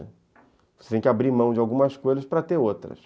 Você tem que abrir mão de algumas coisas para ter outras.